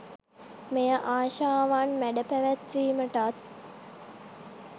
මෙය ආශාවන් මැඩ පැවැත්වීමටත්